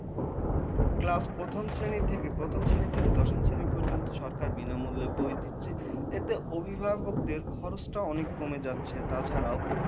class প্রথম শ্রেণী থেকে দশম শ্রেণী পর্যন্ত সরকার বিনামূল্যে বই দিচ্ছে। এতে অভিভাবকদের খরচটা অনেক কমে যাচ্ছে। তাছাড়াও